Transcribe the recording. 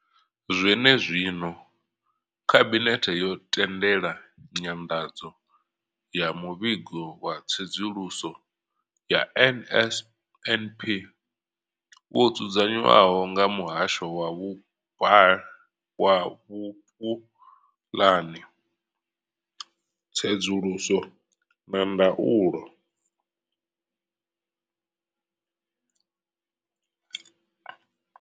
Zwenezwino, khabinethe yo tendela nyanḓadzo ya muvhigo wa tsedzuluso ya NSNP wo dzudzanywaho nga muhasho wa vhupulani, tsedzuluso na ndaulo.